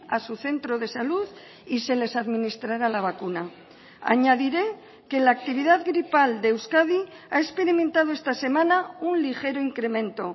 a su centro de salud y se les administrará la vacuna añadiré que la actividad gripal de euskadi ha experimentado esta semana un ligero incremento